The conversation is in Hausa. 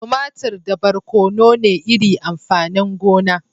Tumatir da barkono ne iri amfanin gona.